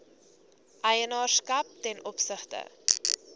eienaarskap ten opsigte